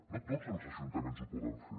no tots els ajuntaments ho poden fer